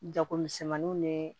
Jagomisɛnmaninw ni